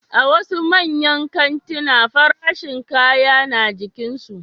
A wasu manyan kantina farashin kaya na jikinsu